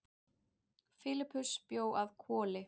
Filippus bjó að Hvoli.